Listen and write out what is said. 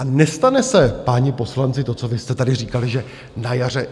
A nestane se, páni poslanci, to, co vy jste tady říkali, že na jaře...